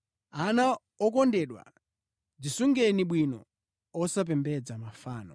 Ana okondedwa, dzisungeni bwino, osapembedza mafano.